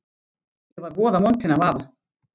Ég var voða montin af afa.